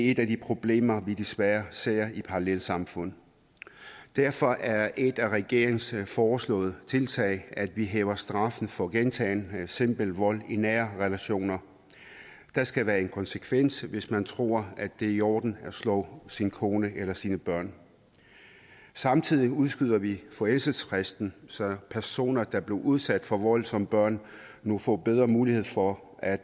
et af de problemer vi desværre ser i parallelsamfund derfor er et af regeringens foreslåede tiltag at vi hæver straffen for gentagen simpel vold i nære relationer der skal være en konsekvens hvis man tror at det er i orden at slå sin kone eller sine børn samtidig udskyder vi forældelsesfristen så personer der er blevet udsat for vold som børn nu får bedre muligheder for at